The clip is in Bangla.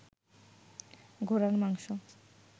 ঘোড়ার মাংস